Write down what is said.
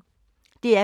DR P1